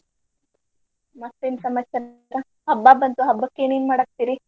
ಮತ್ತೇನ್ ಸಮಾಚಾರ ಅಕ್ಕ ಹಬ್ಬ ಬಂತು ಹಬ್ಬಕ್ಕೇನೇನ್ ಮಾಡಾಕತ್ತಿರೀ.